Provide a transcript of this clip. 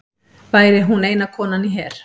Væri hún eina konan í her